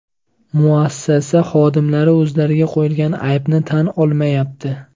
Muassasa xodimlari o‘zlariga qo‘yilgan aybni tan olmayapti.